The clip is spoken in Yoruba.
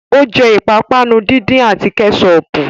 Ó jẹ́ ìpápánu díndín àti Kẹ́ṣọpù